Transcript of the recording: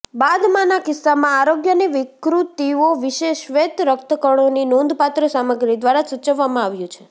બાદમાંના કિસ્સામાં આરોગ્યની વિકૃતિઓ વિશે શ્વેત રક્તકણોની નોંધપાત્ર સામગ્રી દ્વારા સૂચવવામાં આવ્યું છે